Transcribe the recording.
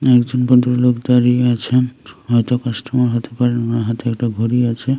একজন ভদ্রলোক দাঁড়িয়ে আছেন হয়তো কাস্টোমার হতে পারেন ওনার হাতে একটা ঘড়ি আছে।